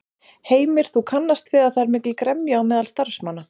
Heimir: Þú kannast við að það er mikil gremja á meðal starfsmanna?